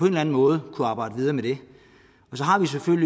eller anden måde arbejde videre med det